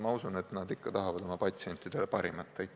Ma usun, et nad ikka tahavad oma patsientidele parimat.